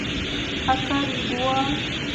акаригуа